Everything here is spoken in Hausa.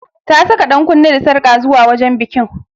Ta saka dankunne da sarƙa zuwa wajen bikin.